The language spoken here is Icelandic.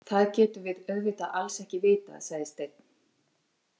Það getum við auðvitað alls ekki vitað, sagði Steinn.